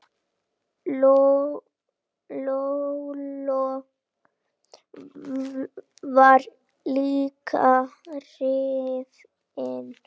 Lolla var líka hrifin.